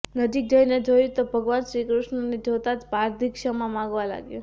નજીક જઈને જોયું તો ભગવાન શ્રીકૃષ્ણને જોતા જ પારધી ક્ષમા માગવા લાગ્યો